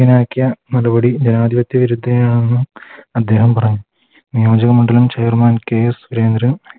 ഗ്യനാക്കിയ നടപടി ജനാധിപത്യ വിരുദ്ധീനെയാണെന്ന് അദ്ദേഹം പറയുന്നു നിയോജക മണ്ഡലം K സുരേന്ദ്രൻ